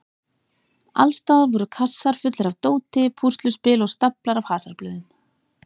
Alls staðar voru kassar fullir af dóti, púsluspil og staflar af hasarblöðum.